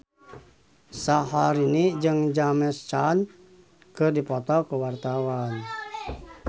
Syaharani jeung James Caan keur dipoto ku wartawan